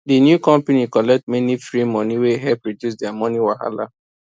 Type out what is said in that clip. the new company collect many free money wey help reduce their money wahala